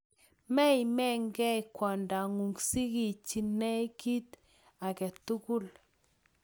Memeke kiy kwongdonyu sikichinei kiit agetugul.